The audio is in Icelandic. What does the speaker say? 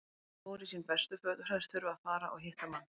Hann fór í sín bestu föt og sagðist þurfa að fara og hitta mann.